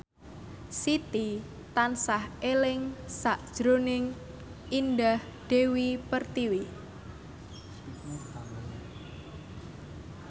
Siti tansah eling sakjroning Indah Dewi Pertiwi